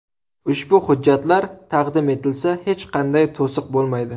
Ushbu hujjatlar taqdim etilsa, hech qanday to‘siq bo‘lmaydi.